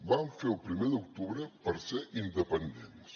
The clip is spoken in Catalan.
vam fer el primer d’octubre per ser independents